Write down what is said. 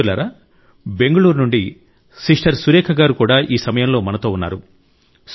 మిత్రులారా బెంగుళూరు నుండి సిస్టర్ సురేఖ గారు కూడా ఈ సమయంలో మనతో ఉన్నారు